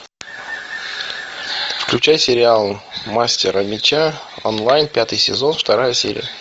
включай сериал мастера меча онлайн пятый сезон вторая серия